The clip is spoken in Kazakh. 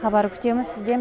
хабар күтеміз сізден